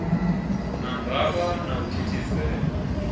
na ndavha na u thithisea